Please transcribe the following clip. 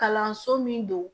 Kalanso min don